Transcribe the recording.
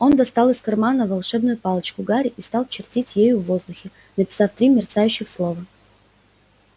он достал из кармана волшебную палочку гарри и стал чертить ею в воздухе написав три мерцающих слова